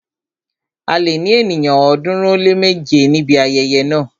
A lè ní ènìyàn ọ̀ọ́dúnrún ó lé méje níbi ayẹyẹ náà.